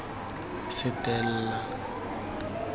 setella